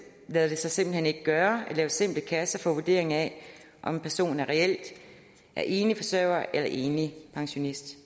lader det sig simpelt hen ikke gøre at lave simple kasser til vurdering af om en person reelt er enlig forsørger eller enlig pensionist